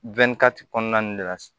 kɔnɔna de la